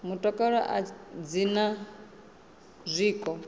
mutakalo a dzi na zwiko